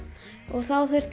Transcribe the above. þá þurfti